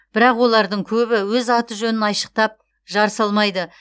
бірақ олардың көбі өз аты жөнін айшықтап жар салмайды